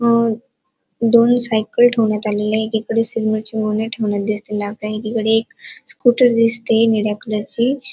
अ दोन सायकल ठेवण्यात आलेल्या आहेत एकीकडे सिमेंट ची गोणी ठेवन्यात एकीकडे एक स्कूटर दिसतिय निळ्या कलरची.